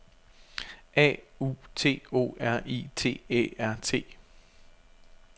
A U T O R I T Æ R T